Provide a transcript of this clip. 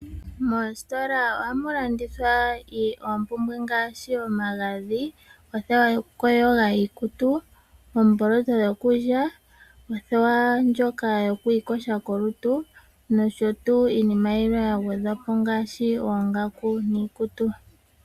Moositola ohamu landithwa oompumbwe ngaashi omagandhi, othewa yokuyoga iikutu, oomboloto dhokulya, othewa ndjoka yokwiiyoga kolutu nosho tuu iinima yilwe ya gwedhwapo ngaashi oongaku niikutu.